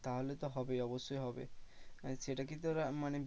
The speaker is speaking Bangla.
তাহলে তো হবে অবশ্যই হবে আর সেটা কি তোর মানে